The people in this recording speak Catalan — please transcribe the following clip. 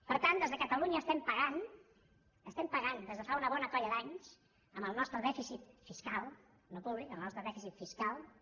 per tant des de catalunya estem pagant estem pagant des de fa una bona colla d’anys amb el nostre dèficit fiscal no públic amb el nostre dèficit fiscal